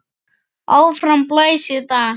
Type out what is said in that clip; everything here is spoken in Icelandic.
Áfram blæs í dag.